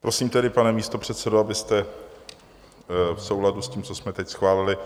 Prosím tedy, pane místopředsedo, abyste v souladu s tím, co jsme teď schválili,